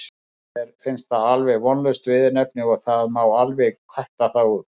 Mér finnst það alveg vonlaust viðurnefni og það má alveg kötta það út.